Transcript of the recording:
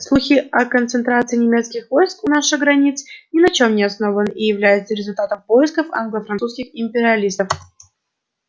слухи о концентрации немецких войск у наших границ ни на чём не основаны и являются результатом происков англо французских империалистов